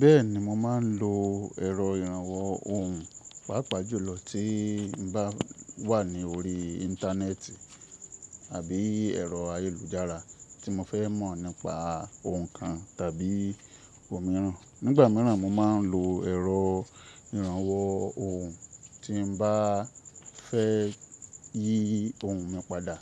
Bẹ́ẹ̀ni mo máa ń lo ẹ̀rọ ìrànwọ́ ohùn, pàápàá jùlọ tí n bá wà ní orí Íńtánẹ́ẹ̀tì àbí ẹ̀rọ ayélujára tí mo fẹ́ mọ̀ nípa ohun kan tàbí ohun mìíràn. Nígbà míràn mo máa ń lo ẹ̀rọ ìrànwọ́ ohùn tí n bá fẹ́ yí tohun mi padà